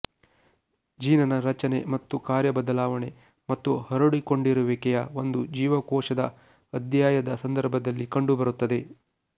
ಜೀನನ ರಚನೆ ಮತ್ತು ಕಾರ್ಯಬದಲಾವಣೆ ಮತ್ತು ಹರಡಿಕೊಂಡಿರುವಿಕೆಯ ಒಂದು ಜೀವಕೋಶದ ಅಧ್ಯಯದ ಸಂದರ್ಭದಲ್ಲಿ ಕಂಡುಬರುತ್ತದೆ